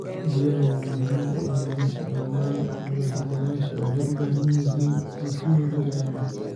Biyaha waa muhiim u ah nolosha dhammaan nooleyaasha, waxayna u baahan yihiin in si weyn loo ilaaliyo.